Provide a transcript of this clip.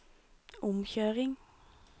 omkjøring